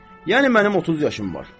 Yəni mənim 30 yaşım var.